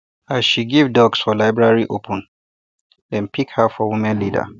as she give ducks for library opening dem pick her for women leader